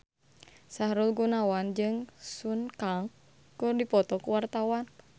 Sahrul Gunawan jeung Sun Kang keur dipoto ku wartawan